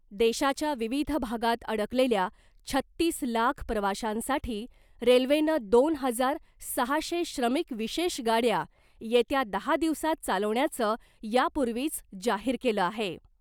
देशाच्या विविध भागात अडकलेल्या छत्तीस लाख प्रवाशांसाठी रेल्वेनं दोन हजार सहाशे श्रमिक विशेष गाड्या येत्या दहा दिवसात चालवण्याचं यापूर्वीच जाहीर केलं आहे .